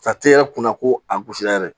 kunna ko a gosilen yɛrɛ